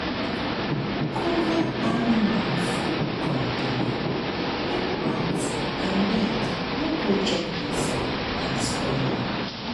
cover animal food container make um rat and bird no go chop inside and spoil am. am.